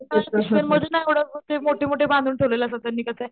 मोठे मोठे बांधून ठेवलेले असतात त्यांनी त्याचे,